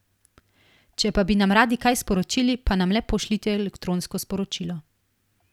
Če pa bi nam radi kaj sporočili, pa nam le pošljite elektronsko sporočilo.